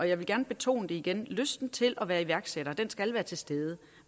jeg vil gerne betone igen at lysten til at være iværksætter skal være til stede